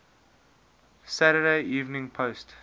saturday evening post